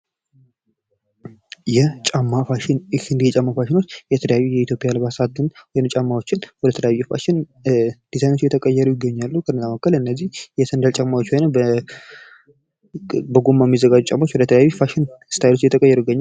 የጫማ ፋሽን፦ ይህ የጫማ ፋሽን የተለያዩ የኢትዮጵያ አልባሳት ወይም የጫማዎችን የተለያዩ ፋሽን ዲዛይኖች እየተቀየሩ ይገኛሉ ከእነዚህም መካከል የሰንደል ጫማዎች ወይንም ከጎማ የሚዛጋጁ ወደተለያዩ ፋሽን ዲዛይኖች እየተቀየሩ ይገኛሉ።